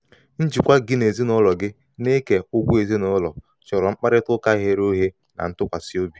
njikwa gị na ndị ezinụlọ gị n'ike ụgwọ ezinụlọ chọrọ mkparịtaụka ghere oghe na ntụkwasị obi.